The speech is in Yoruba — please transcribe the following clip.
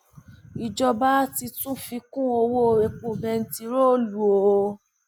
ìjọba ti tún fi kún owó epo bẹntiróòlù o